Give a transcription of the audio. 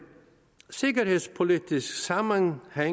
sikkerhedspolitisk sammenhæng er